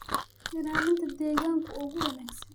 ilaalinta deegaanka ugu wanaagsan.